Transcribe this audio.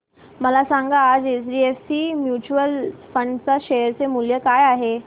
मला सांगा आज एचडीएफसी म्यूचुअल फंड च्या शेअर चे मूल्य काय आहे